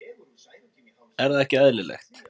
Er það ekki eðlilegt?